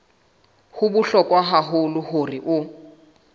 ho bohlokwa haholo hore o